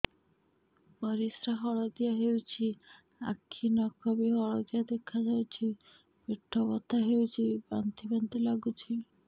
ପରିସ୍ରା ହଳଦିଆ ହେଉଛି ଆଖି ନଖ ବି ହଳଦିଆ ଦେଖାଯାଉଛି ପେଟ ବଥା ହେଉଛି ବାନ୍ତି ବାନ୍ତି ଲାଗୁଛି